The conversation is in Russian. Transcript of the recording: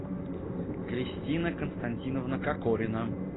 кристина константиновна кокорина